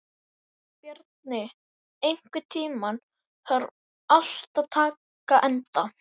Bjarni, einhvern tímann þarf allt að taka enda.